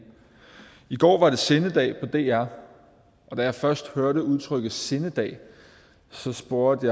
i går var det sindedag på dr da jeg først hørte udtrykket sindedag spurgte